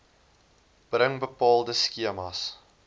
bring bepaalde skemas